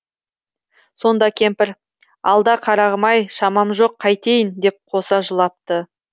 сонда кемпір алда қарағым ай шамам жоқ қайтейін деп қоса жылапты